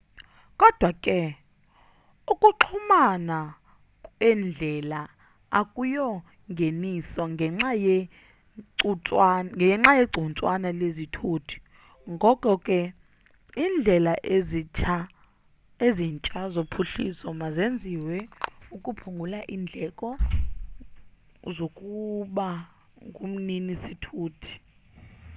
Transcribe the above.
kodwa ke ukuxhumana kweendlela akuyongeniso ngenxa yegcuntswana lezithuthi ngoko ke indlela ezintsha zophuhliso mazenziwe ukuphungula indleko zokuba ngumnini sithuti